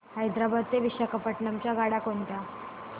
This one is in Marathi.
हैदराबाद ते विशाखापट्ण्णम च्या गाड्या कोणत्या